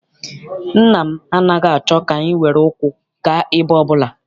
Nna m anaghị achọ ka anyị were ụkwụ gaa ebe ọbụla.